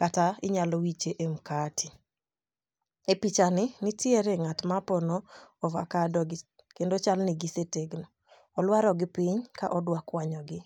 kata inyalo wiche mkate. E picha ni nitiere ng'at mapono ovakado gi kendo chal ni gisetegno. Olwaro gi piny ka odwa kwanyo gi.